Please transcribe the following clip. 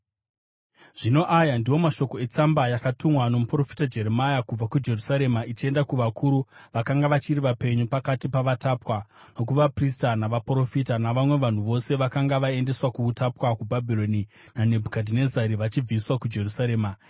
Zvino aya ndiwo mashoko etsamba yakatumwa nomuprofita Jeremia kubva kuJerusarema ichienda kuvakuru vakanga vachiri vapenyu pakati pavatapwa, nokuvaprista navaprofita, navamwe vanhu vose vakanga vaendeswa kuutapwa kuBhabhironi naNebhukadhinezari vachibviswa kuJerusarema.